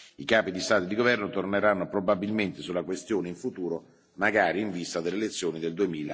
I capi di Stato e di governo torneranno probabilmente sulla questione, in futuro, magari in vista delle elezioni del